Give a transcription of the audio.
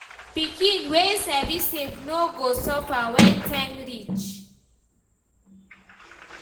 Pikin wey sabi save no go suffer when time reach.